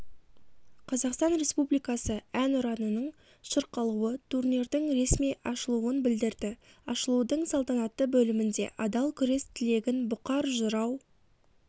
қазақстан республикасы әнұранының шырқалуы турнирдің ресми ашылуын білдірді ашылудың салтанатты бөлімінде адал күрес тілегін бұқар жырау